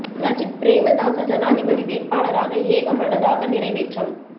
சஜித் பிரேமதாச ஜனாதிபதி வேட்பாளராக ஏகமனதாக நிறைவேற்றம்